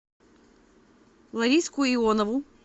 лариску ионову